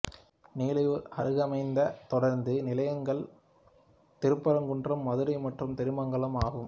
நிலையூர் அருகமைந்த தொடருந்து நிலையங்கள் திருப்பரங்குன்றம் மதுரை மற்றும் திருமங்கலம் ஆகும்